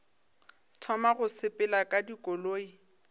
thoma go sepela ka dikoloi